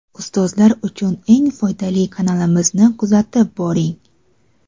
Ustozlar uchun eng foydali kanalimizni kuzatib boring.